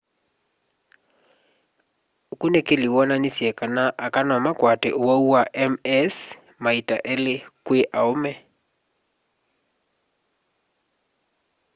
ukunikili wonanisye kana aka nomakwate uwau wa ms maita eli kwi aume